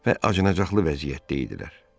və acınacaqlı vəziyyətdə idilər.